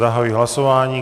Zahajuji hlasování.